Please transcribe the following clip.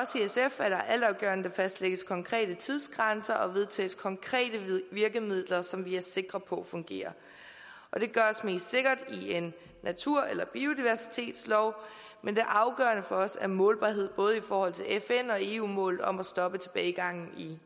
der fastlægges konkrete tidsgrænser og vedtages konkrete virkemidler som vi er sikre på fungerer og det gøres mest sikkert i en natur eller biodiversitetslov men det afgørende for os er målbarhed både i forhold til fn og eu mål om at stoppe tilbagegangen i